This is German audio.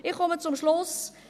Ich komme zum Schluss: